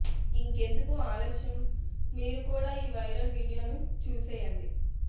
ఇంకెందుకు ఆలస్యం మీరు కూడా ఈ వైరల్ వీడియో ను చూసేయండి